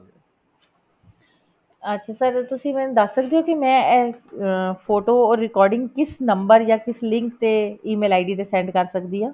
ਅੱਛਾ sir ਤੁਸੀਂ ਮੈਨੂੰ ਦੱਸ ਸਕਦੇ ਹੋ ਕਿ ਮੈਂ ਇਸ ਅਹ photo or recording ਕਿਸ number ਜਾਂ ਕਿਸ link ਤੇ e mail id ਤੇ send ਕਰ ਸਕਦੀ ਆ